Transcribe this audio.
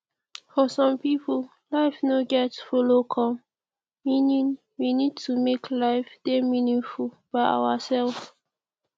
for some pipo life no get follow come meaning we need to make life dey meaningful by ourself